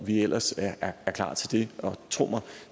vi ellers er klar til det og tro mig